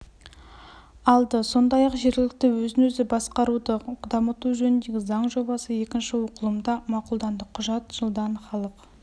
алды сондай-ақ жергілікті өзін-өзі басқаруды дамыту жөніндегі заң жобасы екінші оқылымда мақұлданды құжат жылдан халық